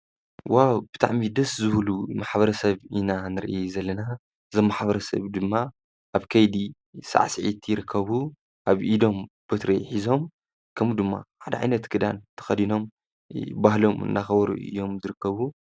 ዋ ብታዕ ሚ ደስ ዝህሉ ማኅበረ ሰብ ኢና ንርኢ ዘለና ዘማኅበረ ሰብ ድማ ኣብ ከይዲ ሣዕ ስዒእትይርከቡ ኣብ ኢዶም በትሪ ኂዞም ከምኡ ድማ ዓድዒይነት ግዳን ተኸዲኖም ባህሎም እናኸበሩ እዮም ድርከቡ።